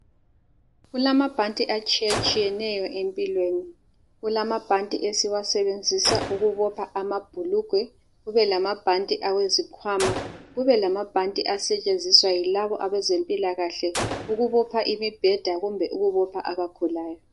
Kulamabanti atshiyetshiyeneyo empilweni, kulamabanti esiwasebenzisa ukubopha amabhulugwe kube lamabhanti awezikhwama , kube lamabhanti asetshenziswa yilabo abezempilakahle ukubopha imbheda kumbe ukubopha labo abagulayo